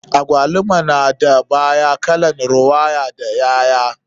Agwaluma na da baya kalan rawaya da ƴaƴa.